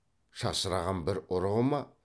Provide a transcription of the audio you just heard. шашыраған бір ұрығы ма